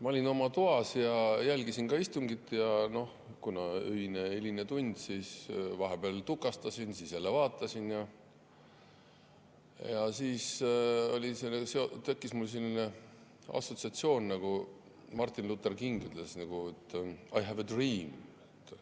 Ma olin oma toas ja jälgisin ka istungit ja kuna on öine, hiline tund, siis vahepeal tukastasin, siis jälle vaatasin ja mul tekkis selline assotsiatsioon, nagu Martin Luther King ütles: "I have a dream!